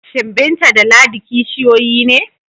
Shin Binta da Ladi kishiyoyi ne?